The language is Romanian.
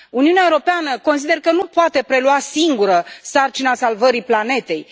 Uniunea Europeană consider că nu poate prelua singură sarcina salvării planetei.